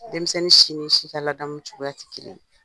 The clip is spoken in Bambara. Denmisɛnnin si ni si ka ladamu cogoya ti kelen ye,